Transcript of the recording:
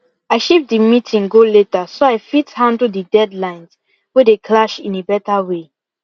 i shift the meeting go later so i fit handle the deadlines wey dey clash in a better way